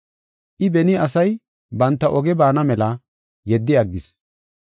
I, beni asay banta oge baana mela yeddi aggis.